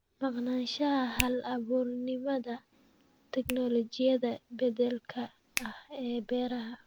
Maqnaanshaha hal-abuurnimada tignoolajiyada beddelka ah ee beeraha.